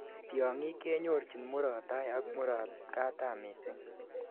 Tiongik kenyorchin murot tai aka murot katam missing